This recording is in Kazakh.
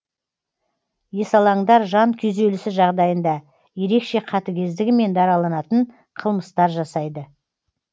есалаңдар жан күйзелісі жағдайында ерекше қатігездігімен дараланатын қылмыстар жасайды